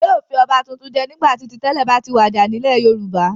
Wọn yóò fi ọba tuntun jẹ nígbà tí ti tẹ́lẹ̀ bá ti wàjà nílẹ̀ Yorùbá.